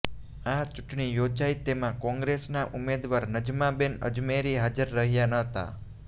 આ ચૂંટણી યોજાઇ તેમાં કોંગ્રેસના ઉમેદવાર નજમાબેન અજમેરી હાજર રહ્યા ન હતા